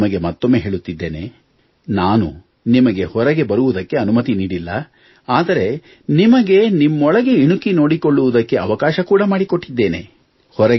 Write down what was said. ನಾನು ನಿಮಗೆ ಮತ್ತೊಮ್ಮೆ ಹೇಳುತ್ತಿದ್ದೇನೆ ನಾನು ನಿಮಗೆ ಹೊರಗೆ ಬರುವುದಕ್ಕೆ ಅನುಮತಿ ನೀಡಿಲ್ಲ ಆದರೆ ನಿಮಗೆ ನಿಮ್ಮೊಳಗೆ ಇಣುಕಿ ನೋಡಿಕೊಳ್ಳುವುದಕ್ಕೆ ಅವಕಾಶ ಕೂಡ ಮಾಡಿಕೊಟ್ಟಿದ್ದೇನೆ